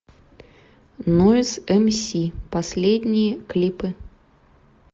нойз мс последние клипы